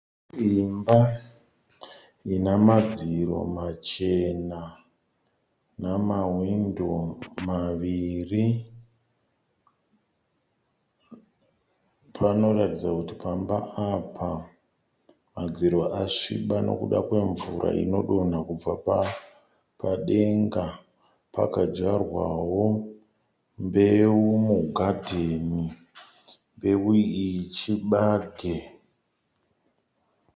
Imba ina madziro machena, namawindo maviri. Panoratidza kuti pamba apa madziro asviba nokuda kwemvura inodonha kubva padenga. Pakadyarwawo mbeu mugadheni. Mbeu iyi chibage.